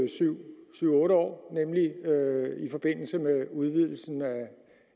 syv otte år nemlig i forbindelse med udvidelsen af